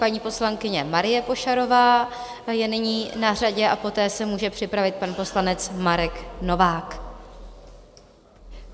Paní poslankyně Marie Pošarová je nyní na řadě a poté se může připravit pan poslanec Marek Novák.